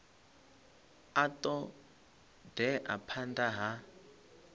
a ṱo ḓea phanḓa ha